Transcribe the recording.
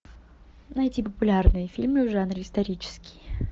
найти популярные фильмы в жанре исторический